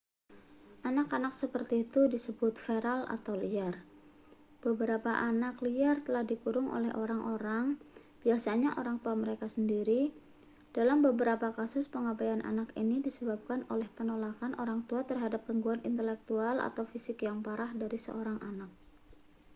"anak-anak seperti itu disebut feral atau liar. beberapa anak liar telah dikurung oleh orang-orang biasanya orang tua mereka sendiri; dalam beberapa kasus pengabaian anak ini disebabkan oleh penolakan orang tua terhadap gangguan intelektual atau fisik yang parah dari seorang anak.